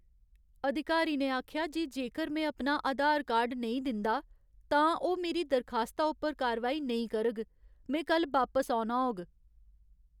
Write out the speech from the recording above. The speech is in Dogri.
अधिकारी ने आखेआ जे जेकर में अपना आधार कार्ड नेईं दिंदा, तां ओह् मेरी दरखास्ता उप्पर कारवाई नेईं करग। में कल्ल बापस औना होग।